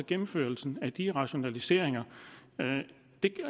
gennemførelsen af de rationaliseringer